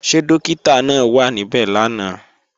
Ṣé Dọ́kítà náà wà níbẹ̀ lánàá?